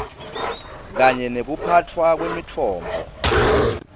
kanye nekuphatfwa kwemitfombo